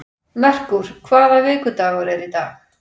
Merkúr, hvaða vikudagur er í dag?